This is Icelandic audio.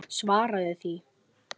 Svaraðu því!